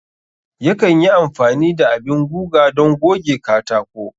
Yakan yi amfani da abin guga don goge katako.